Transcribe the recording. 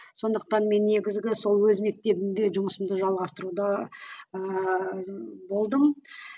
сондықтан мен негізгі сол өз мектебімде жұмысымды жалғастыруда ыыы болдым